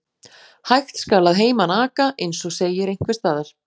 Hægt skal að heiman aka, eins og segir einhvers staðar.